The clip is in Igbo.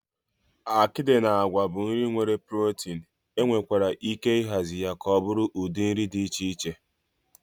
Akịdị na àgwà bụ nri nwere protin, enwekwara ike ịhazi ya ka ọ bụrụ ụdị nri dị iche iche.